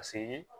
Paseke